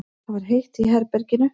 Það var heitt í herberginu.